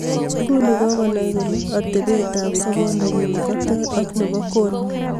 Nguni kokanay kole atebetab sobondonyu koter ak nebo kon